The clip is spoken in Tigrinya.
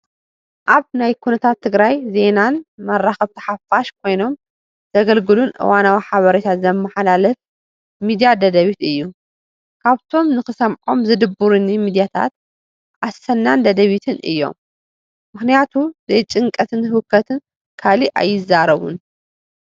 ኣብ ናይ ኩነታት ትግራይ ዜናን መራኸብቲ ሓፋሽ ኮይኖም ዘገልግሉን እዋናዊ ሓበሬታ ዘመሓላልፍ ሚድያ ደደቢት እዩ፡፡ ካብቶም ንኽሰምዖም ዝድብሩኒ ሚድያታት ኣሰናን ደደቢትን እዮም፡፡ ምኽንያቱ ዘይጭንቀትን ህውከትን ካሊእ ኣይዛረቡን፡፡